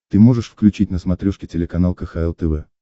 ты можешь включить на смотрешке телеканал кхл тв